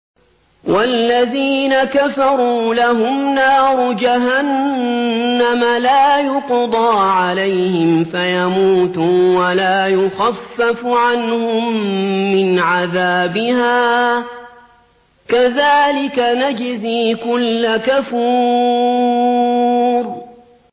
وَالَّذِينَ كَفَرُوا لَهُمْ نَارُ جَهَنَّمَ لَا يُقْضَىٰ عَلَيْهِمْ فَيَمُوتُوا وَلَا يُخَفَّفُ عَنْهُم مِّنْ عَذَابِهَا ۚ كَذَٰلِكَ نَجْزِي كُلَّ كَفُورٍ